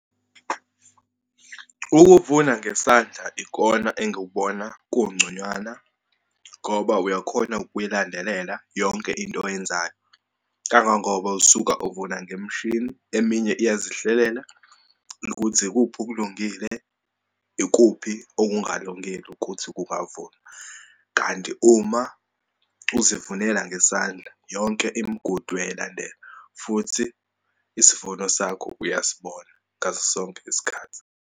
Ukuvuna ngesandla ikona engikubona kungconywana, ngoba uyakhona ukuyilandelela yonke into oyenzayo. Kangangoba usuka uvuna ngemishini, eminye iyazihlelela ukuthi ikuphi okulungile, ikuphi okungalungile ukuthi kungavunwa. Kanti uma uzivunela ngesandla yonke imigudu uyayilandela. Futhi isivuno sakho uyasibona ngaso sonke isikhathi.